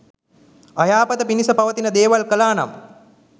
අයහපත පිණිස පවතින දේවල් කළා නම්